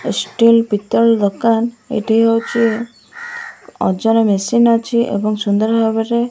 ଏ steel ପିତଳ ଦୋକାନ ଏଠି ହଉଚି ଅଜର ମେସିନ ଅଛି ଏବଂ ସୁନ୍ଦର ଭାବରେ।